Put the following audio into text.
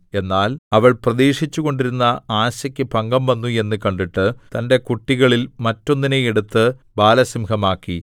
എന്നാൽ അവൾ പ്രതീക്ഷിച്ചുകൊണ്ടിരുന്ന ആശയ്ക്ക് ഭംഗംവന്നു എന്നു കണ്ടിട്ട് തന്റെ കുട്ടികളിൽ മറ്റൊന്നിനെ എടുത്ത് ബാലസിംഹമാക്കി